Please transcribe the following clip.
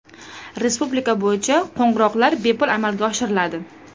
Respublika bo‘yicha qo‘ng‘iroqlar bepul amalga oshiriladi.